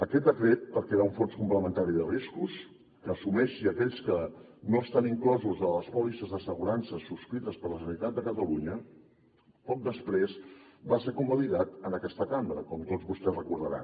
aquest decret per crear un fons complementari de riscos que assumeixi aquells que no estan inclosos en les pòlisses d’assegurances subscrites per la generalitat de catalunya poc després va ser convalidat en aquesta cambra com tots vostès deuen recordar